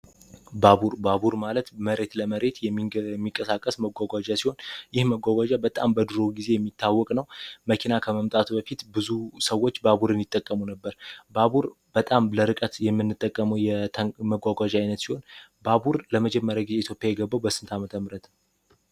ባቡር ባቡር ማለት መሬት ለመሬት የሚቀሳቀስያ ሲሆን በጣም በድሮ ግዜው መኪና ከመምጣቱ በፊት ብዙ ሰዎች ባቡር የሚጠቀሙ ነበር ባቡር በጣም ለርቀት የምንጠቀመው ባቡር ለመጀመሪያ የገባው በስንት ዓመተ ምህረት